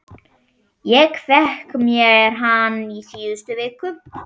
Ég fékk mér hann í síðustu viku.